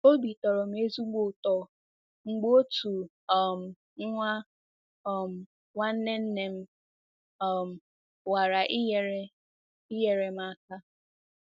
Obi tọrọ m ezigbo ụtọ mgbe otu um nwa um nwanne nne m um nwara inyere inyere m aka.